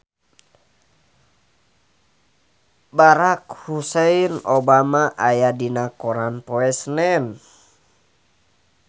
Barack Hussein Obama aya dina koran poe Senen